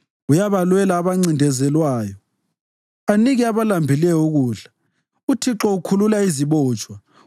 Uyabalwela abancindezelwayo anike abalambileyo ukudla. UThixo ukhulula izibotshwa,